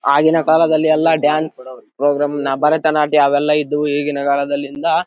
ಆಗಿನ ಕಾಲದಲ್ಲಿ ಎಲ್ಲ ಡ್ಯಾನ್ಸ್ ಪ್ರೋಗ್ರಾಮ್ ನ ಭಾರತ್ ನಾಟ್ಯ ಅವೆಲ್ಲ ಇದ್ದು ಈಗಿನ ಕಾಲದಲ್ಲಿ ಇಂದ --